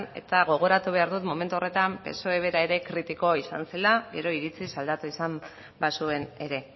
eta gogoratu behar dut momentu horretan psoe bera ere kritiko izan zela gero iritziz aldatu izan bazuen ere